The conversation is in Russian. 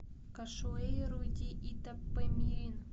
кашуэйру ди итапемирин